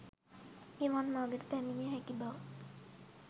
නිවන් මගට පැමිණිය හැකි බව